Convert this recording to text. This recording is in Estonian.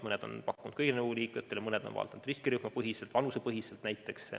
Mõned on pakkunud kõigile nõukogu liikmetele, mõned on pakkunud näiteks riskirühmapõhiselt või vanusepõhiselt.